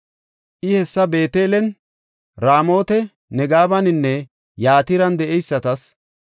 I hessa Beetelen, Raamota Negebaninne Yatiran de7eysatas,